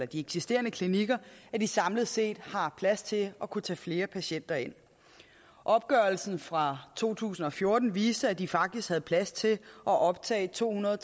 de eksisterende klinikker at de samlet set har plads til at kunne tage flere patienter ind opgørelsen fra to tusind og fjorten viste at de faktisk havde plads til at optage tohundrede